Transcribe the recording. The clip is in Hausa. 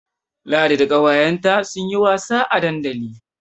Ladi da ƙawayenta sun yi wasa a dandali.